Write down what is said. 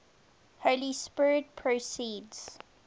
holy spirit proceeds